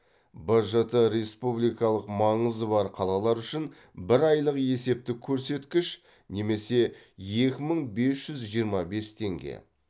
бжт республикалық маңызы бар қалалар үшін бір айлық есептік көрсеткіш немесе екі мың бес жүз жиырма бес теңге